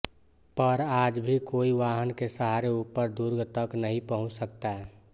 पर आज भी कोई वाहन के सहारे ऊपर दुर्ग तक नहीं पहुँच सकता